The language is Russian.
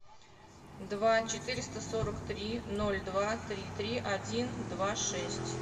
два четыреста сорок три ноль два три три один два шесть